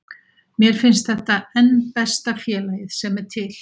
Mér finnst þetta enn besta félagið sem er til.